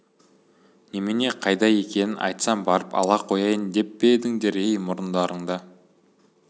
немене қайда екенін айтсам барып ала қояйын деп пе едіңдер ей мұрындарыңды